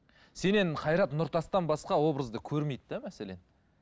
сенен қайрат нұртастан басқа образды көрмейді де мәселен